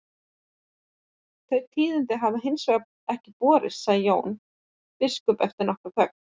Þau tíðindi höfðu hins vegar ekki borist, svaraði Jón biskup eftir nokkra þögn.